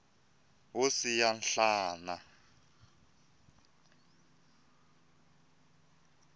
wo siya nhlana